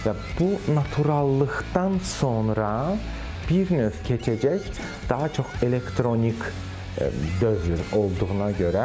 Və bu naturallıqdan sonra bir növ keçəcək daha çox elektronik dövr olduğuna görə.